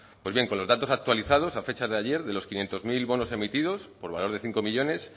pues bien con los datos actualizados a fecha de ayer de los quinientos mil bonos emitidos por valor de cinco millónes